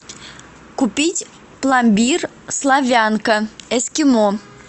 купить пломбир славянка эскимо